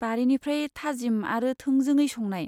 बारिनिफ्राय थाजिम आरो थोंजोङै संनाय।